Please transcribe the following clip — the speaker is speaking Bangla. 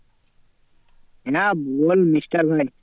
না বল